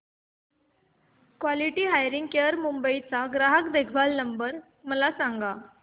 quality hearing care Mumbai चा ग्राहक देखभाल क्रमांक मला सांगा